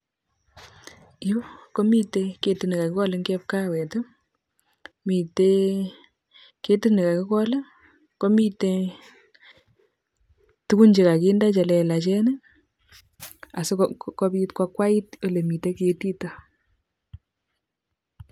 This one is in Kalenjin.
Yuu, komitei ketit ne kakigol eng' chepkawet. Mitei ketit ne kakigol, komitei tugun che kakinde che lelachen, asikobit koakwait ole mitei ketitok